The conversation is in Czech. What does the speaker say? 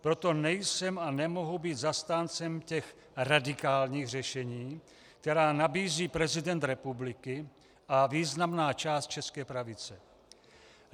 Proto nejsem a nemohu být zastáncem těch radikálních řešení, která nabízí prezident republiky a významná část české pravice.